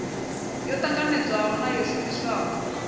yo ṱanganedzwaho na yo shumiswaho